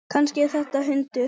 Kannski er þetta hundur?